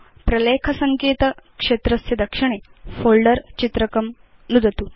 प्रलेख सङ्केत क्षेत्रस्य दक्षिणे फोल्डर चित्रकं नुदतु